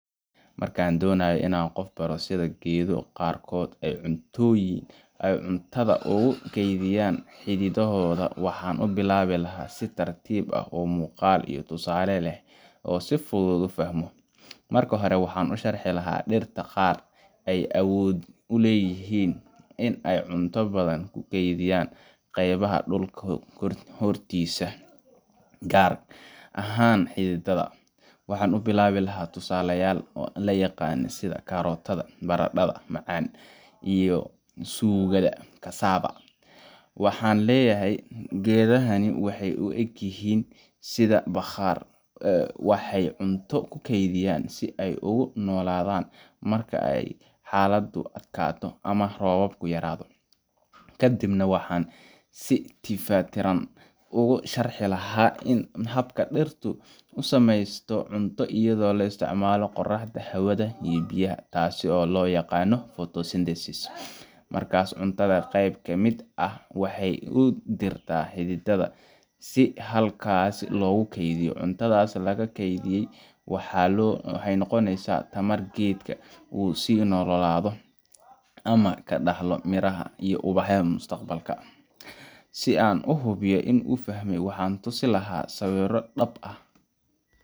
Marka aan doonayo in aan qof baro sida geedo qaarkood ay cuntada ugu kaydiyaan xididdadooda, waxaan u bilaabi lahaa si tartiib ah oo muuqaal iyo tusaale leh si uu si fudud u fahmo. Marka hore, waxaan u sharxi lahaa in dhirta qaar ay awood u leeyihiin in ay cunto badan ku keydiyaan qeybaha dhulka hoostiisa ah, gaar ahaan xididdada. Waxaan ku bilaabi lahaa tusaalayaal la yaqaan sida karootada , barandhada macaan , iyo suugada cassava. Waxaan leeyahay: Geedahani waxa ay u eg yihiin sida bakhaar – waxay cunto u keydiyaan si ay ugu noolaadaan marka xaaladdu adkaato ama roobka yaraado. Kadib waxaan si tifaftiran ugu sharixi lahaa habka ay dhirtu u samaysato cunto iyada oo isticmaalaysa qoraxda, hawada, iyo biyaha – taas oo loo yaqaan photosynthesis – markaasna cuntaas qayb ka mid ah waxay u dirtay xididdada si halkaas loogu keydiyo. Cuntadaas la kaydiyay waxay u noqonaysaa tamar geedka u sii noolaado, ama ka dhaxlo miraha iyo ubaxa mustaqbalka. Si aan u hubiyo in uu fahmay, waxaan ku tusin lahaa sawirro ama dhab ah